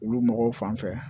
Olu mɔgɔw fan fɛ